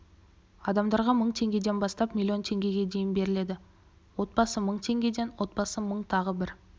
адамдарға мың теңгеден бастап миллион теңгеге дейін беріледі отбасы мың теңгеден отбасы мың тағы бір